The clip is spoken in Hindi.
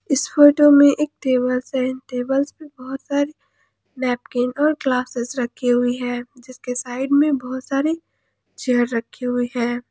इस फोटो में एक टेबल से टेबल पे बहुत सारे नैपकिन और ग्लासेस रखी हुई है जिसके साइड में बहुत सारे चेयर रखे हुए हैं।